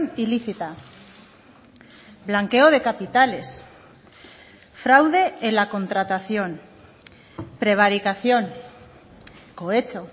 ilícita blanqueo de capitales fraude en la contratación prevaricación cohecho